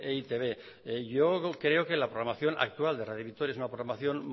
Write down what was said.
e i te be yo creo que la programación actual de radio vitoria es una programación